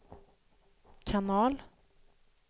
kanal